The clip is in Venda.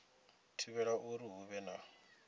thivhela uri hu vhe na